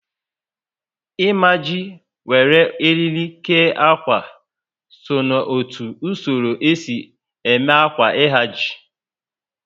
Imaji ma wéré oriri kee ákwà so n'otu usoro esi eme ákwà ihaji